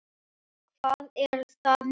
Hvað er það mikið?